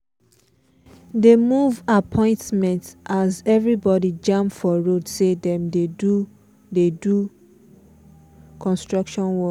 de move um appointment as everybody jam for road say them dey do dey do construction work